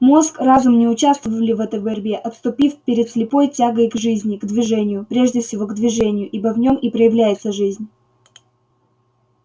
мозг разум не участвовали в этой борьбе отступив перед слепой тягой к жизни к движению прежде всего к движению ибо в нем и проявляется жизнь